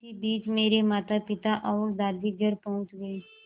इसी बीच मेरे मातापिता और दादी घर पहुँच गए